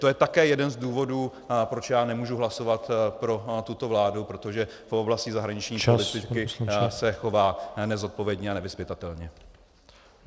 To je také jeden z důvodů, proč já nemohu hlasovat pro tuto vládu, protože v oblasti zahraniční politiky se chová nezodpovědně a nevyzpytatelně.